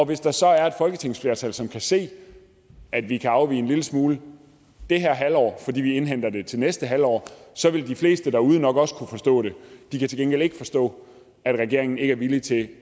hvis der så er et folketingsflertal som kan se at vi kan afvige en lille smule det her halvår fordi vi indhenter det til næste halvår så vil de fleste derude nok også kunne forstå det de kan til gengæld ikke forstå at regeringen ikke er villig til